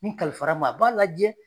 N kalifara ma , a b'a lajɛ